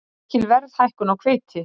Mikil verðhækkun á hveiti